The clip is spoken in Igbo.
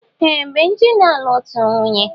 Ee! Benji na-alụ otù nwunye.